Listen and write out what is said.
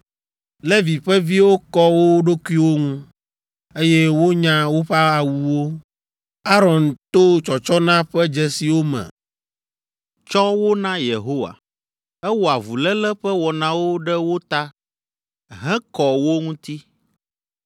Levi ƒe viwo kɔ wo ɖokuiwo ŋu, eye wonya woƒe awuwo. Aron to tsɔtsɔna ƒe dzesiwo me tsɔ wo na Yehowa. Ewɔ avuléle ƒe wɔnawo ɖe wo ta hekɔ wo ŋuti.